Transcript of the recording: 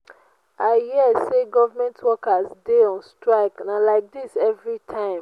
i hear say government workers dey on strike and na like dis everytime